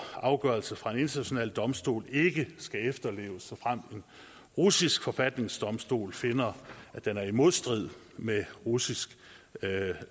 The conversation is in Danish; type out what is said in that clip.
afgørelse fra en international domstol ikke skal efterleves såfremt en russisk forfatningsdomstol finder at den er i modstrid med russisk